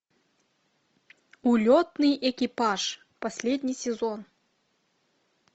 улетный экипаж последний сезон